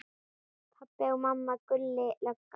Pabbi og mamma, Gulli lögga.